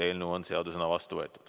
Eelnõu on seadusena vastu võetud.